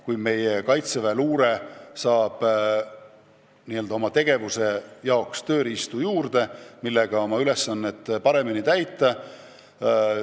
Kui Kaitseväe luure saab oma tegevuseks tööriistu juurde, saab ta oma ülesandeid paremini täita.